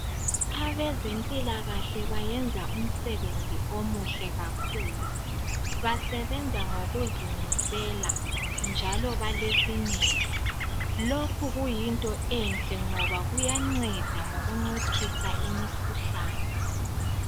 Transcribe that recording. Abezempilakahle bayenza umsebenzi omuhle kakhulu basebenza ngokuzimisela njalo balesineke. Lokhu kuyinto enhle ngoba kuyanceda ngokunciphisa imikhuhlane.